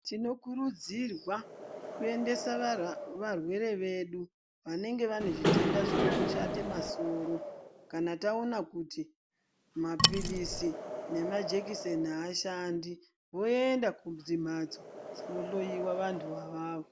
Tinokurudzirwa kuendesa varwere vedu vanenga vaine zvitenda zvikurushate masoro kana taona kuti mapirizi nemajekiseni haashandi voenda kumhatso dzinohloyiwa vanhu avavo.